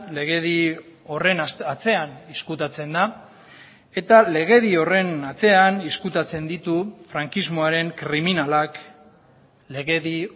legedi horren atzean ezkutatzen da eta legedi horren atzean ezkutatzen ditu frankismoaren kriminalak legedi